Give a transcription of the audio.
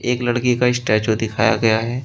एक लड़के का स्टेचू दिखाया गया है।